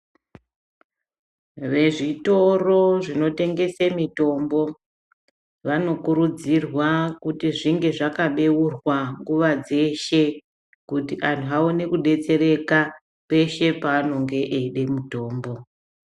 Vezvitoro zvinotengese mitombo vanokurudzirwa kuti zvinge zvakabeurwa nguva dzeshe kuti antu aone kudetsereka peshe paanenge eide mutombo.